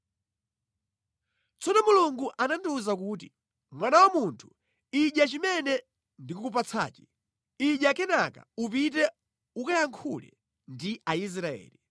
Tsono Mulungu anandiwuza kuti, “Mwana wa munthu, idya chimene ndikukupatsachi. Idya kenaka upite ukayankhule ndi Aisraeli.”